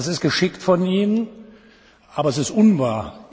Das ist geschickt von Ihnen, aber es ist unwahr.